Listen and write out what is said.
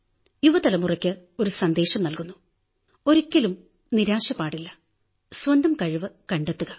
യുവ തലമുറയ്ക്ക് ഒരു സന്ദേശം നല്കുന്നു ഒരിക്കലും നിരാശപാടില്ല സ്വന്തം കഴിവു കണ്ടെത്തുക